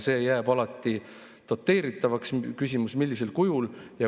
See jääb alati doteeritavaks, küsimus on, millisel kujul.